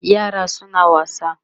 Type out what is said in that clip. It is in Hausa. yaran suna wasa